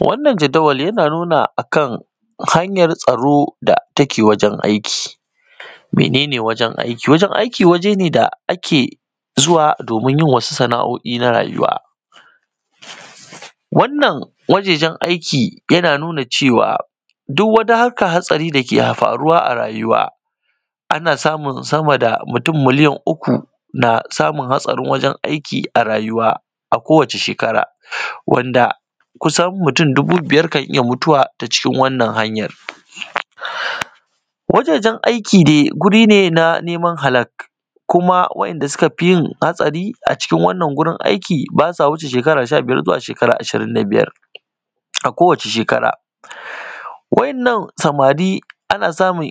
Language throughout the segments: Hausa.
Wannan jadawali yana nuna akan hanyan tsaro da take wajen aiki. Mene ne wajen aiki? Wajen aiki waje ne da ake zuwa domin yin wasu sana’o’i na rayuwa. Wannan wajejen aiki yana nuna cewa duk wata hannyan hatsari da ke faruwa a rayuwa, ana samun mutum sama da milliyan ɗari uku na samun hatsarin wajen aiki a rayuwa a kowace shekara. Wanda kusan mutum dubu biyar kan iya mutuwa ta cikin wannan hannyan. Wajejen aiki dai guri ne na neman halak. Kuma waɗanda suka fi yin hatsari a cikin wannan gurin aiki ba sa wuce shekara sha biyar zu shekara ashirin da biyar a kowace shekara. Waɗannan samari suna samun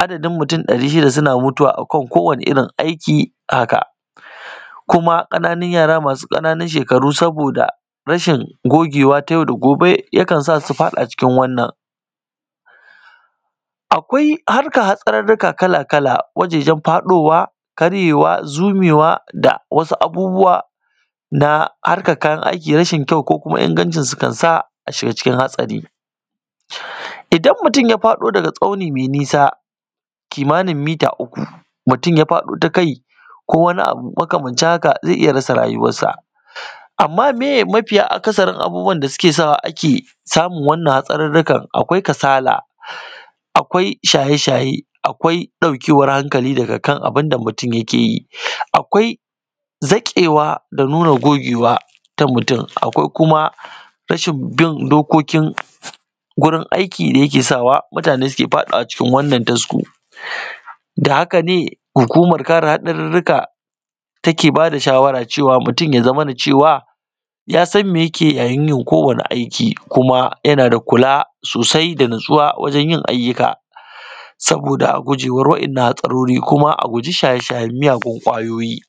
adadin mutum ɗari shida da suke mutuwa akan kowani irin aiki. Haka kuma ƙananun yara masu ƙaramin shekaru, saboda rashin gogewa na yau da gobe, ya kan su faɗa cikin wannan hatsari. Sannan akwai harka hatsaririka kala-kala: wajejen faɗowa, karyewa, zumewa, da wasu abubbuwa na harkan kayan aiki rashi kyau ko kuma ingancinsu, kan sa a shiga cikin hatsari. Idan mutum ya faɗo daga tsauni mai nisa, kimanin mita uku, mutum ya faɗo ta kai ko wani abu makamancin haka, ze iya rasa rayuwansa. Amma meye mafi akasarin abun da ke sawa ake samun waɗan nan hatsaririkan? Akwai kasala, akwai shaye-shaye, akwai ɗaukewan hankali daga kan abun da mutum ya ke yi. Akwai zaƙewa da nuna gogewa da mutum, akwai kuma rashin bin dokokin aiki da yake sawa mutane su ke faɗawa cikin wannan tasko. Da hakane hukuman kare hatsaririka ta ke bada shawara cewa mutum ya zamana cewa ya san me ya ke yi yayin yin aiki, kuma yana da kula sosai da natsuwa wajen yin ayyuka, saboda a gujewa waɗan nan hatsarori, kuma a guji shaye-shayen miyagun kwayoyi